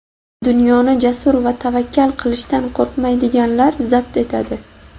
"Dunyoni jasur va tavakkal qilishdan qo‘rqmaydiganlar zabt etadi".